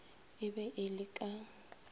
e be e le ka